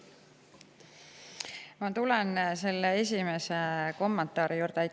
Aitäh teile küsimuse eest!